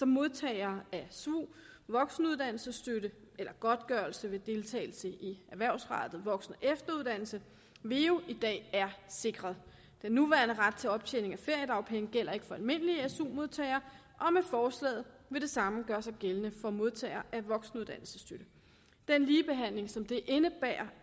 modtagere af svu voksenuddannelsesstøtte eller godtgørelse ved deltagelse i erhvervsrettet voksen og efteruddannelse veu i dag er sikret den nuværende ret til optjening af feriedagpenge gælder ikke for almindelige su modtagere og med forslaget vil det samme gøre sig gældende for modtagere af voksenuddannelsesstøtte den ligebehandling som det indebærer